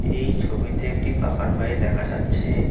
এই ছবিতে একটি বাগানবাড়ি দেখা যাচ্ছে।